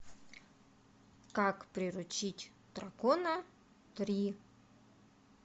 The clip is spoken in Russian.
как приручить дракона три